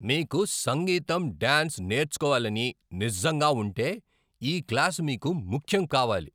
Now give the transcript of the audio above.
మీకు సంగీతం, డాన్స్ నేర్చుకోవాలని నిజంగా ఉంటే, ఈ క్లాస్ మీకు ముఖ్యం కావాలి.